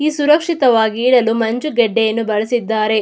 ಈ ಸುರಕ್ಷಿತವಾಗಿ ಇರಲು ಮಂಜುಗಡ್ಡೆಯನ್ನು ಬಳಸಿದ್ದಾರೆ.